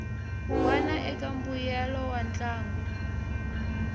wana eka mbuyelo wa ntlangu